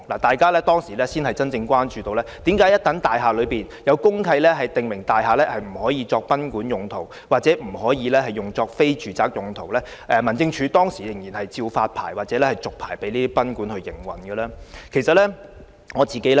當時大家才真正關注到，為何位於大廈公契已訂有不能作賓館或非住宅用途的條文的多層大廈內的酒店及賓館，仍會獲民政事務總署發牌及續牌經營。